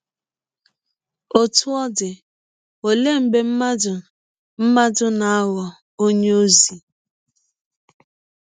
Ọtụ ọ dị, ọlee mgbe mmadụ mmadụ na - aghọ ọnye ọzi?